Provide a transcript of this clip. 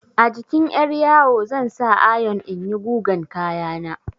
A jikin 'yaryawo zan sa ayon in yi gugan kaya na.